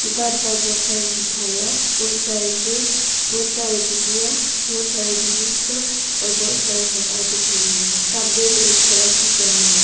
दुकान पर बहुत सारे मिठाइयां बहुत सारे केक बहुत सारे भुजिया बहुत सारे नूडल्स कप और बहुत सारे सामान दिखाई दे रहा है सामने में एक सड़क दिख रहा है।